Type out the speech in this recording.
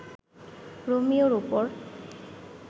রোমিওর উপর